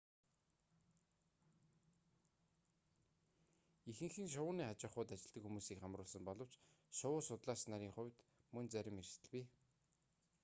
ихэнх нь шувууны аж ахуйд ажилладаг хүмүүсийг хамруулсан боловч шувуу судлаач нарын хувьд мөн зарим эрсдэл бий